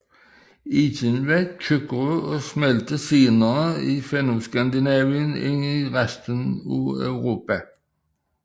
Isen var tykkere og smeltede senere i Fennoskandinavien end i resten af Europa